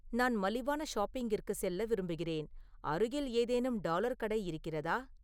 நான் மலிவான ஷாப்பிங்கிற்கு செல்ல விரும்புகிறேன் அருகில் ஏதேனும் டாலர் கடை இருக்கிறதா